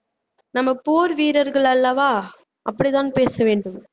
நம்ம போர் வீரர்கள் அல்லவா அப்படிதான் பேச வேண்டும்